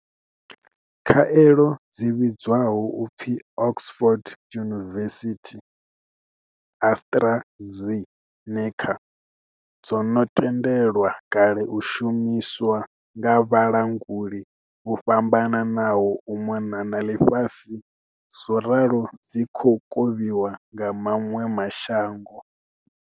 Khaelo dzi vhidzwaho u pfi Oxford University-AstraZe neca dzo no tendelwa kale u shumiswa nga vhalanguli vho fhambananaho u mona na ḽifhasi zworalo dzi khou kovhiwa kha maṅwe ma shango.